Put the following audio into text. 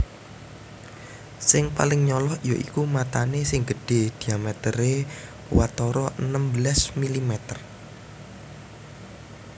Sing paling nyolok yaiku matané sing gedhé diamèteré watara enem belas milimeter